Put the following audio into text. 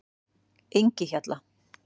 Engihjalla